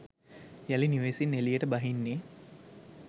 යළි නිවෙසින් එළියට බහින්නේ